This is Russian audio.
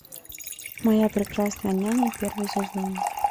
моя прекрасная няня первый сезон